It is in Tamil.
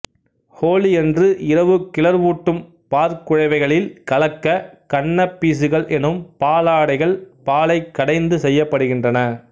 ஹோலியன்று இரவு கிளர்வூட்டும் பாற்குழைவைகளில் கலக்க கன்னபீசுகள் எனும் பாலடைகள் பாலைக் கடைந்து செய்யப்படுகின்றன